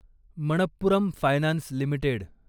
Manappuram finance limited